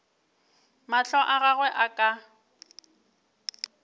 mahlo a gagwe a ka